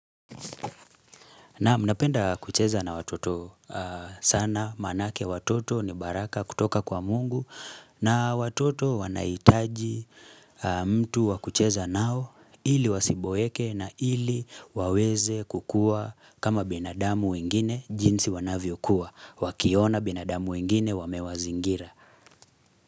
Naam napenda kucheza na watoto sana manake watoto ni baraka kutoka kwa mungu na watoto wanahitaji mtu wa kucheza nao ili wasiboeke na ili waweze kukua kama binadamu wengine jinsi wanavyokuwa wakiona binadamu wengine wamewazingira.